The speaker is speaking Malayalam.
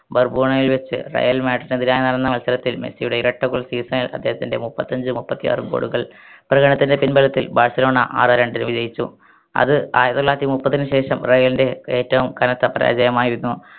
ബർബോണയിൽ വെച്ച് റയൽ മാഡ്രിഡിന് എതിരായ് നടന്ന മത്സരത്തിൽ മെസ്സിയുടെ ഇരട്ട goal season ൽ അദ്ദേഹത്തിൻറെ മുപ്പത്തിയഞ്ചു മുപ്പത്തിയാറ് goal കൾ പ്രതണതിൻറെ പിൻബലത്തിൽ ബാഴ്‌സലോണ ആറെ രണ്ടിന് വിജയിച്ചു അത് ആയിരത്തി തൊള്ളായിരത്തി മുപ്പതിന് ശേഷം റയലിന്റെ ഏറ്റവും കനത്ത പരാജയമായിരുന്നു